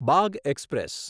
Bagh express